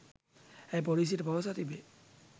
ඇය පොලීසියට පවසා තිබේ.